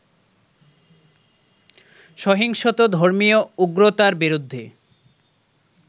সহিংসত ধর্মীয় উগ্রতার বিরুদ্ধে